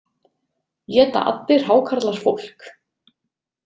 Éta allir hákarlar fólk?